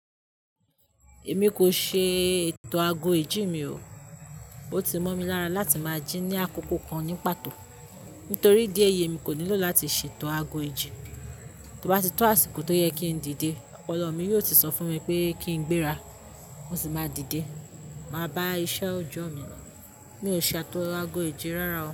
Èmi kò ṣee ètò ago ìjí mi o. O ti mọ́ mi lára láti máa jí ní àkókò kan ní pàtó. Nítorí idí eyi, emi kò nílò láti ṣe ètò ago ìjí. To bá tó àsìkò tó yẹ kí n díde, ọpọlọ mi yóò ti sọ fún mi pé kí n gbéra, mo sì máa díde. Máa bá iṣẹ́ ọjọ́ mi. Mi ò ṣatò ago ìjí rárá o.